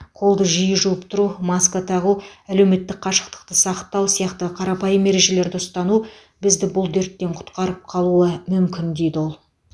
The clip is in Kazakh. қолды жиі жуып тұру маска тағу әлеуметтік қашықтықты сақтау сияқты қарапайым ережелерді ұстану бізді бұл дерттен құтқарып қалуы мүмін дейді ол